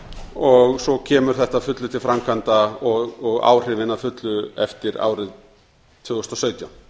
og svo kemur þetta að fullu til framkvæmda og áhrifin að fullu eftir árið tvö þúsund og sautján